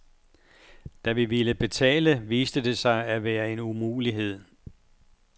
Da vi ville betale viste det sig at være en umulighed.